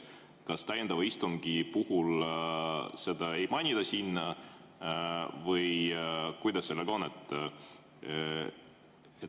Kas täiendavat istungit ei mainitagi või kuidas sellega on?